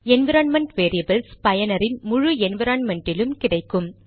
environment variables பயனரின் முழு என்விரான்மென்ட்டிலும் கிடைக்கும்